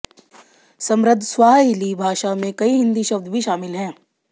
समृद्ध स्वाहिली भाषा में कई हिंदी शब्द भी शामिल हैं